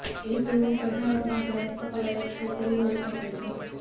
એક રૂમ સજાવટ માટે હસ્તકલા એક છોકરી હોઈ શકે છે